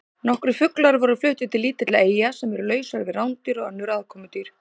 Nokkrir fuglar voru fluttir til lítilla eyja sem eru lausar við rándýr og önnur aðkomudýr.